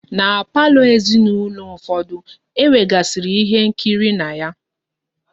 Na palọ ezinaulo ụfọdụ, e nwegasiri ihe nkiri na ya.